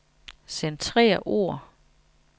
Centrer ord.